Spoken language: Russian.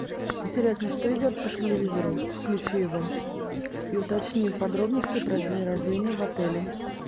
интересно что идет по телевизору включи его и уточни подробности про день рождения в отеле